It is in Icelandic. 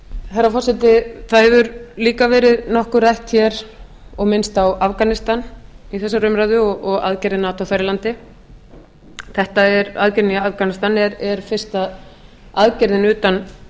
herra forseti það hefur líka verið nokkuð rætt hér og minnst á afganistan í þessari umræðu og aðgerðir nato þar í landi þetta með aðgerðirnar í afganistan er fyrsta aðgerðin utan